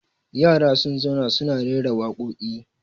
yara sun zauna suna rera waƙoƙi